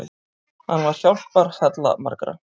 Hann var hjálparhella margra.